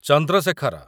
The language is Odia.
ଚନ୍ଦ୍ର ଶେଖର